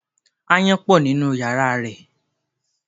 Ááyán pọ̀ nínú yàrá rẹ.